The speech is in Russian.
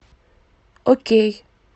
окей